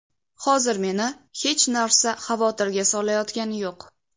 Hozir meni hech narsa xavotirga solayotgani yo‘q.